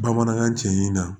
Bamanankan cɛ in na